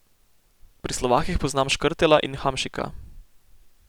Pri Slovakih poznam Škrtela in Hamšika.